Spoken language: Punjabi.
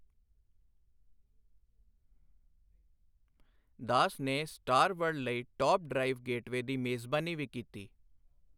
ਦਾਸ ਨੇ ਸਟਾਰ ਵਰਲਡ ਲਈ ਟੌਪ ਡਰਾਈਵ ਗੇਟਵੇਅ ਦੀ ਮੇਜਬਾਨੀ ਵੀ ਕੀਤੀ।